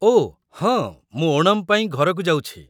ଓ, ହଁ, ମୁଁ ଓଣମ୍ ପାଇଁ ଘରକୁ ଯାଉଛି ।